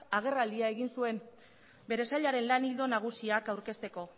agerraldia egin zuen bere sailaren lan ildo nagusiak aurkezteko